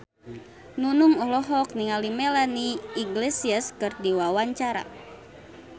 Nunung olohok ningali Melanie Iglesias keur diwawancara